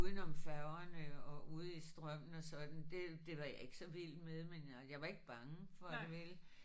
Udenom færgerne og ude i strømmen og sådan det det var jeg ikke så vild med men jeg jeg var ikke bange for det vel